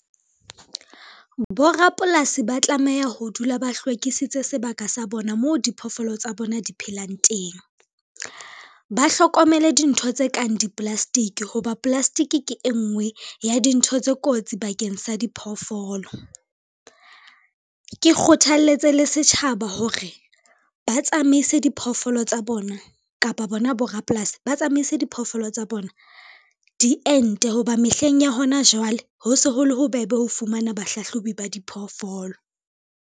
Borapolasi ba tlameha ho dula ba hlwekisitse sebaka sa bona moo diphoofolo tsa bona di phelang teng. Ba hlokomele dintho tse kang di-plastic ho ba plastic ke e ngwe ya dintho tse kotsi bakeng sa diphoofolo. Ke kgothaletse le setjhaba hore ba tsamaise diphoofolo tsa bona kapa bona borapolasi, ba tsamaise diphoofolo tsa bona diente ho ba mehleng ya hona jwale ho se ho le bobebe ho fumana bahlahlobi ba diphoofolo.